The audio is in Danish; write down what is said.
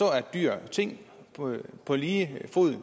at dyr er ting på lige fod